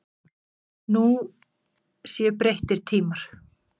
Nú séu breyttir tímar.